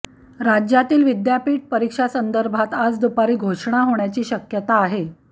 राज्यातील विद्यापीठ परीक्षांसंदर्भात आज दुपारी घोषणा होण्याची शक्यता आहे